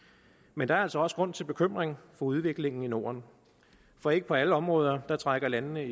men der er altså også grund til bekymring for udviklingen i norden for ikke på alle områder trækker landene